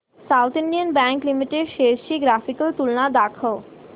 south Indian Bank Limited shares ची graphical तुलना दाखव